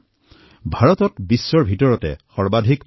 ভাৰতত পশুৰ আবাদী সমগ্ৰ বিশ্বৰ ভিতৰতে অধিক